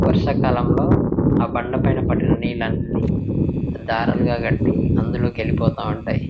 వర్షాకాలంలో ఆ బండ పైన పడిన నీళ్లన్నీ దారాలుగా కట్టి అందులోకి వెళ్ళిపోతా ఉంటాయి.